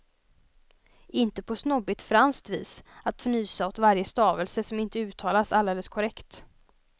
Inte på snobbigt franskt vis, att fnysa åt varje stavelse som inte uttalas alldeles korrekt.